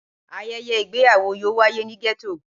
Ayẹyẹ igbeyawo yoo waye ni getto.